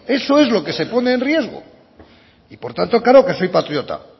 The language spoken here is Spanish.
eso es lo que se pone en riesgo y por tanto claro que soy patriota